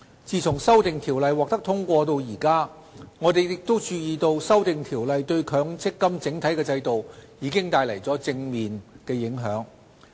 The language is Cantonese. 自《修訂條例》獲得通過至今，我們亦注意到《修訂條例》對強積金整體制度帶來的正面影響。